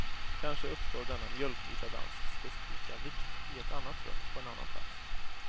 Kanske uppstår denna mjölkvita dans specifika vikt i ett annat rum, på en annan plats.